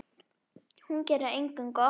Hún gerir engum gott.